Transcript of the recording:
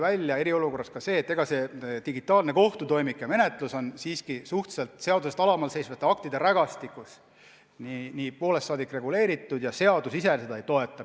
Praegu tuli eriolukorras välja, et digitaalne kohtutoimik ja menetlus on siiski kirjas suhteliselt seadusest alamal seisvate aktide rägastikus, see on poolest saadik reguleeritud, seadus seda piisavalt ei toeta.